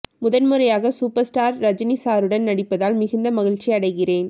முதன் முறையாக super star Rajini சாருடன் நடிப்பதால் மிகுந்த மகிழ்ச்சியடைகிறேன்